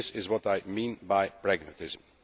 This is what I mean by pragmatism.